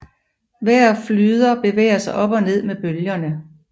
Hver flyder bevæger sig op og ned med bølgerne